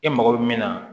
E mago bɛ min na